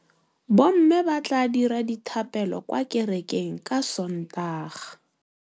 Bommê ba tla dira dithapêlô kwa kerekeng ka Sontaga.